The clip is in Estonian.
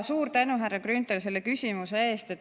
Suur tänu, härra Grünthal, selle küsimuse eest!